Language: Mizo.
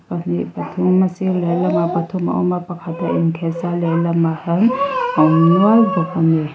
pahnih pathum a sir leh lamah pathum a awm a pakhat a inkheh sa lehlamah hian a awm nual bawk a ni.